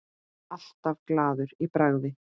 Alltaf glaður í bragði.